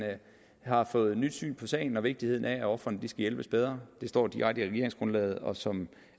har fået nyt syn på sagen og vigtigheden af at ofrene skal hjælpes bedre det står direkte i regeringsgrundlaget og som